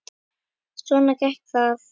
Svona gekk það.